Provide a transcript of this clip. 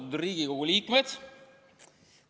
Austatud Riigikogu liikmed!